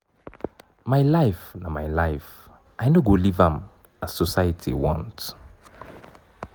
my life na my life i no go live am as society want.